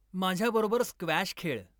माझ्याबरोबर स्क्वॅश खेळ.